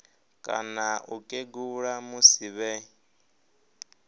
kana u kegula musi vhe